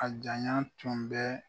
A janya tun bɛ.